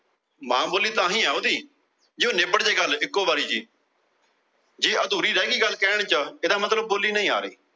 ਮਾਂ ਬੋਲੀ ਤਾਹਿ ਏ ਆ ਓਹੰਦੀ। ਜੇ ਨਿਬੜ ਜੇ ਗੱਲ ਇੱਕੋ ਵਾਰੀ ਚ। ਜੇ ਅਧੂਰੀ ਰਹਿ ਗਈ ਗੱਲ ਕਹਿਣ ਚ ਇਹਦਾ ਮਤਲਬ ਨਹੀਂ ਆ ਰਹੀ।